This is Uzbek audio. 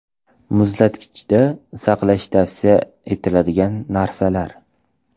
Muzlatkichda saqlash tavsiya etiladigan narsalar.